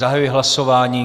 Zahajuji hlasování.